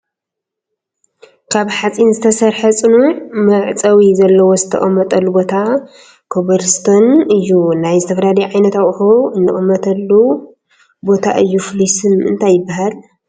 ካብ ሓፂን ዝተሰርሐ ፅኑዕ መዕፀዊ ዘልዎ ዝትቅመጠሉ ቦታ ኮብልስቶንእዩ። ናይ ዝተፍላልዩ ዓይንት ኣቁሑ እንቅምተሉ ቦታ እዩ ፍሉይ ስም እንታይ ይብሃል ?